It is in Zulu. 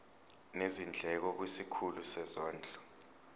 nezindleko kwisikhulu sezondlo